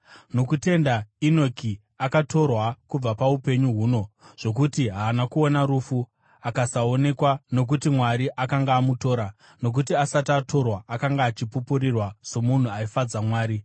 Nokutenda Enoki akatorwa kubva paupenyu huno, zvokuti haana kuona rufu; akasaonekwa, nokuti Mwari akanga amutora; nokuti asati atorwa, akanga achipupurirwa somunhu aifadza Mwari.